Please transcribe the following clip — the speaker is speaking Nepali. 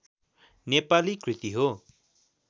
नेपाली कृति हो